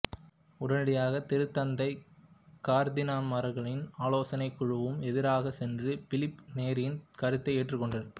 உடனடியாக திருத்தந்தை கர்தினால்மார்களின் ஆலோசனைக் குழுவுக்கும் எதிராகச் சென்று பிலிப்பு நேரியின் கருத்தை ஏற்றுக்கொண்டார்